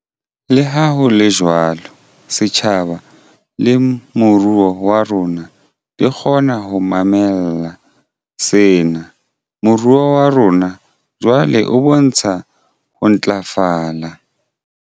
Leha ho le jwalo, setjhaba le moruo wa rona di kgonne ho mamella sena. Moruo wa rona jwale o bontsha ho ntlafala.